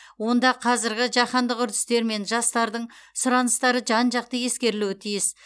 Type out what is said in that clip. онда қазіргі жаһандық үрдістер мен жастардың сұраныстары жан жақты ескерілуі тиіс